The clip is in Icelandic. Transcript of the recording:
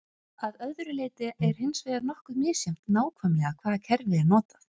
Að öðru leyti er hins vegar nokkuð misjafnt nákvæmlega hvaða kerfi er notað.